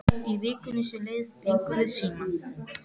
Í vikunni sem leið fengum við síma.